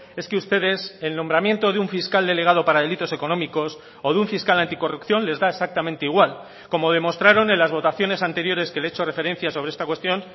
es que ustedes el nombramiento de un fiscal delegado para delitos económicos o de un fiscal anticorrupción les da exactamente igual como demostraron en las votaciones anteriores que le he hecho referencia sobre esta cuestión